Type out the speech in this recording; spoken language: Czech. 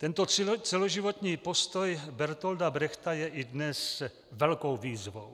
Tento celoživotní postoj Bertolta Brechta je i dnes velkou výzvou.